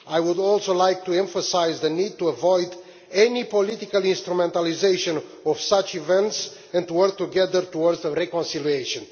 I would also like to emphasise the need to avoid any political instrumentalisation of such events and work together towards reconciliation.